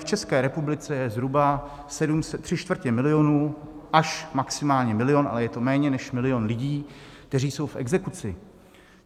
V České republice je zhruba tři čtvrtě milionu až maximálně milion, ale je to méně než milion, lidí, kteří jsou v exekuci.